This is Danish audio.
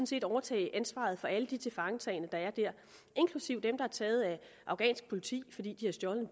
set overtage ansvaret for alle de tilfangetagne der er der inklusive dem der er taget af afghansk politi fordi de har stjålet